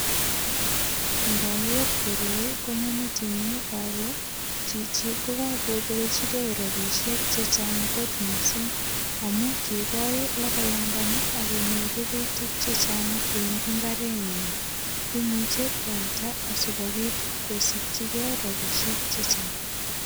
Ngoger koroi konyo metinyun ale chichi ko kakobelchige rapisiek che chang kot mising. Amu kigol logoyandani ak konyor rurutik che chang en imbarenyin. Imuche kwalda asigopit kosikyigei rapinik che chang.